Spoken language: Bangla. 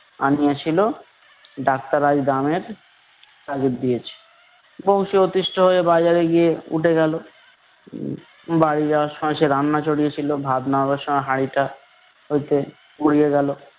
আনিয়াছিল। ডাক্তার আজ দামের তাগিদ দিয়েছে। বংশী অতিষ্ঠ হয়ে বাজারে গিয়ে উঠে গেল। উম বাড়ি যাওয়ার সময় সে রান্না চড়িয়েছিল ভাত নামাবার সময় হাড়িটা গেল।